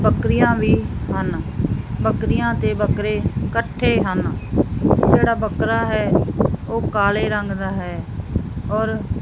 ਬਕਰੀਆਂ ਵੀ ਹਨ ਬੱਕਰੀਆਂ ਤੇ ਬੱਕਰੇ ਇਕੱਠੇ ਹਨ ਜਿਹੜਾ ਬੱਕਰਾ ਹੈ ਉਹ ਕਾਲੇ ਰੰਗ ਦਾ ਹੈ ਔਰ--